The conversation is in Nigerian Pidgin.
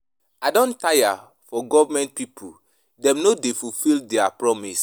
I don tire for government pipo, dem no dey fulfil their promise.